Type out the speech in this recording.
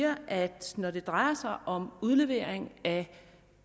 at når det drejer sig om udlevering af